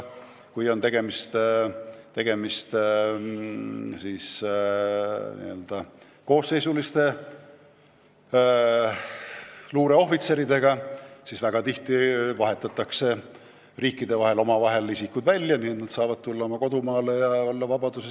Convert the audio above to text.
Kui on tegemist n-ö koosseisuliste luureohvitseridega, siis väga tihti vahetatakse riikide vahel vastastikku isikud välja, nii et nad saavad tulla oma kodumaale ja jääda vabadusse.